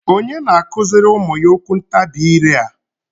onye na-akụziri ụmụ ya okwuntabi ire a?